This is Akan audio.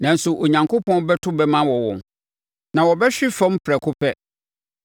Nanso, Onyankopɔn bɛto bɛmma awɔ wɔn; na wɔbɛhwe fam prɛko pɛ.